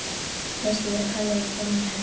Veistu, ég er að pæla í að fá mér hest!